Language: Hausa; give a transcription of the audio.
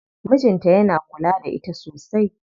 Mijin ta yana kula da ita sosai.